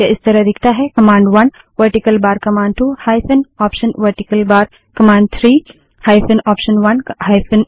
यह इस तरह दिखता है command one vertical bar command two hyphen option vertical bar command three hyphen option one hyphen option two vertical bar command four command 1